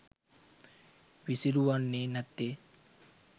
විසිරුවන්නේ නැත්තේ.